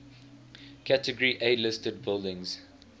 category a listed buildings